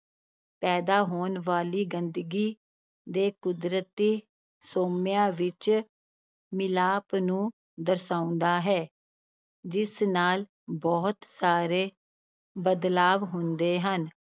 ਪੈਦਾ ਹੋਣ ਵਾਲੀ ਗੰਦਗੀ ਦੇ ਕੁਦਰਤੀ ਸੋਮਿਆਂ ਵਿੱਚ ਮਿਲਾਪ ਨੂੰ ਦਰਸਾਉਂਦਾ ਹੈ, ਜਿਸ ਨਾਲ ਬਹੁਤ ਸਾਰੇ ਬਦਲਾਵ ਹੁੰਦੇ ਹਨ,